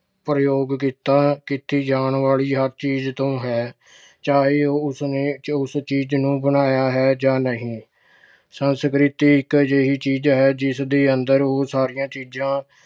ਪ੍ਰਯੋਗ ਕੀਤਾ ਅਹ ਕੀਤੀ ਜਾਣ ਵਾਲੀ ਹਰ ਚੀਜ ਤੋਂ ਹੈ। ਚਾਹੇ ਉਹ ਉਸਨੇ ਉਸ ਚੀਜ ਨੂੰ ਬਣਾਇਆ ਹੈ ਜਾਂ ਨਹੀਂ। ਸੰਸਕ੍ਰਿਤੀ ਇੱਕ ਅਜਿਹੀ ਚੀਜ਼ ਹੈ ਜਿਸ ਦੇ ਅੰਦਰ ਉਹ ਸਾਰੀਆਂ ਚੀਜਾਂ